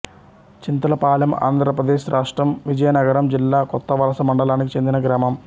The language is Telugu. చింతలపాలెంఆంధ్ర ప్రదేశ్ రాష్ట్రం విజయనగరం జిల్లా కొత్తవలస మండలానికి చెందిన గ్రామం